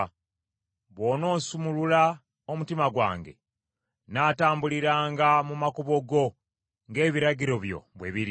Bw’onoosumulula omutima gwange, nnaatambuliranga mu makubo go ng’ebiragiro byo bwe biri.